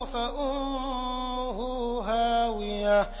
فَأُمُّهُ هَاوِيَةٌ